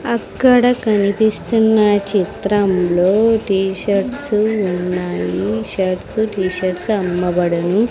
అక్కడ కనిపిస్తున్న చిత్రంలో టీ-షర్ట్స్ ఉన్నాయి షర్ట్స్ టీ-షర్ట్స్ అమ్మబడును.